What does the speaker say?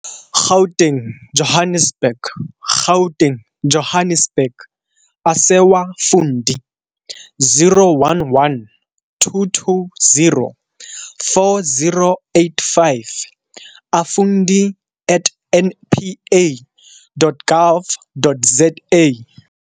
Gauteng, Johannesburg. Gauteng, Johannesburg, - Asewa Fundi - 011 220 4085 - Afundi at npa.gov.za